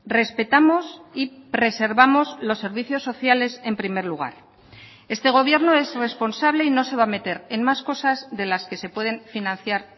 respetamos y preservamos los servicios sociales en primer lugar este gobierno es responsable y no se va a meter en más cosas de las que se pueden financiar